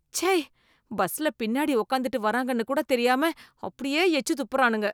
ச்சை, பஸ்ல பின்னாடி உட்காந்துட்டு வராங்கன்னு கூட தெரியாம அப்படியே எச்சு துப்புறானுங்க.